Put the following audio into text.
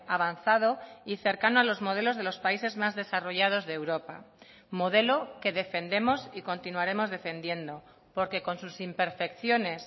avanzado y cercano a los modelos de los países más desarrollados de europa modelo que defendemos y continuaremos defendiendo porque con sus imperfecciones